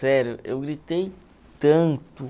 Sério, eu gritei tanto.